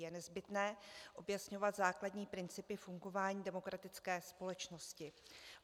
Je nezbytné objasňovat základní principy fungování demokratické společnosti.